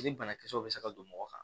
Ni banakisɛw bɛ se ka don mɔgɔ kan